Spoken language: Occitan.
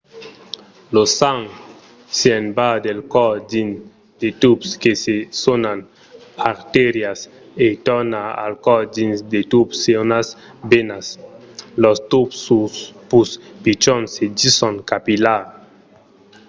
lo sang se'n va del còr dins de tubs que se sonan artérias e torna al còr dins de tubs sonats venas. los tubs pus pichons se dison capillars